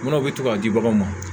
Munnu bɛ to ka di baganw ma